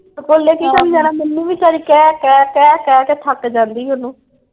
ਸਕੂਲੇ ਕੀ ਕਰਨ ਜਾਣਾ। ਮੈਨੂੰ ਵੀ ਕਹਿ ਕਹਿ ਕਹਿ ਕਹਿ ਕੇ ਥੱਕ ਜਾਂਦੀ ਓਹਨੂੰ।